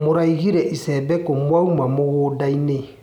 Mũraigire icembe kũ mwauma mũgũndainĩ.